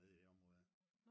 nede i det område der